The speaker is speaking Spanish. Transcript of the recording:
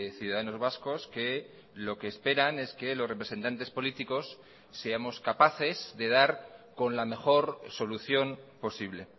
ciudadanos vascos que lo que esperan es que los representantes políticos seamos capaces de dar con la mejor solución posible